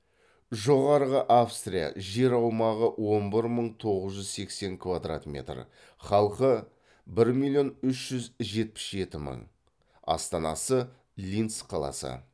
жоғарғы австрия жер аумағы он бір мың тоғыз жүз сексен квдрат метр халқы бір миллион үш жүз жетпіс жеті мың астанасы линц қаласы